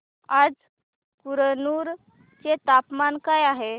आज कुरनूल चे तापमान काय आहे